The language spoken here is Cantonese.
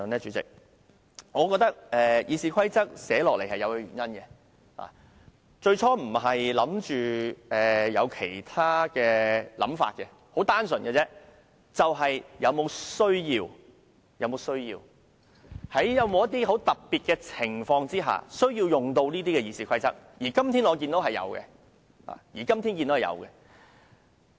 主席，我覺得《議事規則》制訂這項規則最初並沒有其他盤算，而只是純粹考慮是否有此需要，在某些特殊情況下有需要引用《議事規則》，而我今天正正看到有此需要。